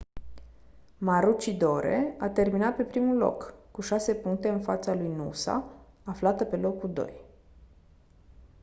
maroochydore a terminat pe primul loc cu șase puncte în fața lui noosa aflată pe locul doi